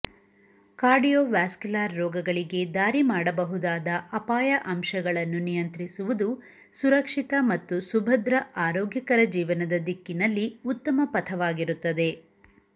cardiovascular ರೋಗಗಳಿಗೆ ದಾರಿ ಮಾಡಬಹುದಾದ ಅಪಾಯ ಅಂಶಗಳನ್ನು ನಿಯಂತ್ರಿಸುವುದು ಸುರಕ್ಷಿತ ಮತ್ತು ಸುಭದ್ರ ಆರೋಗ್ಯಕರ ಜೀವನದ ದಿಕ್ಕಿನಲ್ಲಿ ಉತ್ತಮ ಪಥವಾಗಿರುತ್ತದೆ